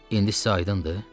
İndi sizə aydındır?